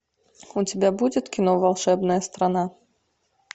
у тебя будет кино волшебная страна